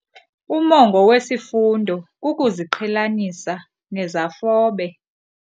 Umongo wesifundo kukuziqhelanisa nezafobe.